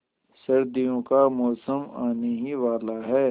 सर्दियों का मौसम आने ही वाला है